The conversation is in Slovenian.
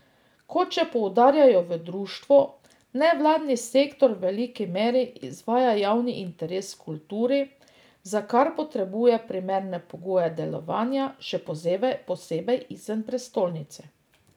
Kot še poudarjajo v društvu, nevladni sektor v veliki meri izvaja javni interes v kulturi, za kar potrebuje primerne pogoje delovanja, še posebej izven prestolnice.